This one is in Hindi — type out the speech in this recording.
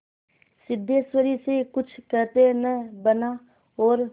सिद्धेश्वरी से कुछ कहते न बना और